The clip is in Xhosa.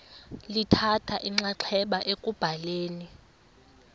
lithatha inxaxheba ekubhaleni